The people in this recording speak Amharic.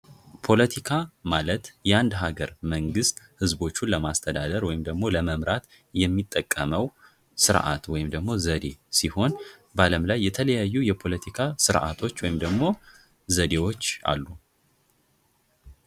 ፖለቲካ ማለት የአንድ ሀገር መንግስት ህዝቦቹን ለማስተዳደር ወይም ደግሞ ለመምራት የሚጠቀመው ስርዓት ወይም ደግሞ ዘዴ ሲሆን በዓለም ላይ የተለያዩ የፖለቲካ ስርአቶች ወይም ደግሞ ዘዴዎች አሉ።